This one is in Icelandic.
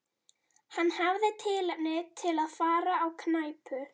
Hann hafði tilefni til að fara á knæpu.